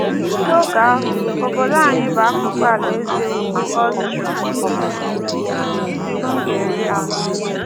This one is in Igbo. N’oge ahụ, obodo anyị bụ akụkụ Alaeze Ukwu Austro - Hungarian.